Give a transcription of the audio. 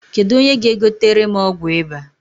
Kedụ onye ga-egotere m ọgwụ ịba?